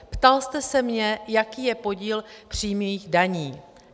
Ptal jste se mě, jaký je podíl přímých daní.